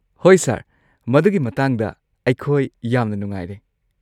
ꯍꯣꯏ ꯁꯔ, ꯃꯗꯨꯒꯤ ꯃꯇꯥꯡꯗ ꯑꯩꯈꯣꯏ ꯌꯥꯝꯅ ꯅꯨꯡꯉꯥꯏꯔꯦ꯫